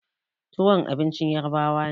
Tuwon abincin ƴarbawa ne.